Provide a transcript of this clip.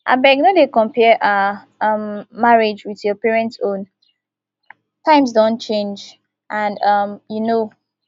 abeg no dey compare our um marriage with your parents own times don change and um you know